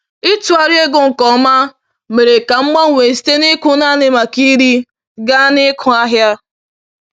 Ịtụgharị ego nke ọma mere ka m gbanwee site n’ịkụ naanị maka iri gaa n’ịkụ ahịa.